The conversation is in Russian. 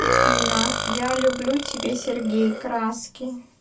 афина я люблю тебя сергей краски